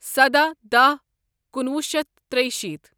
سداہ داہ کُنوُہ شیتھ ترُشیٖتھ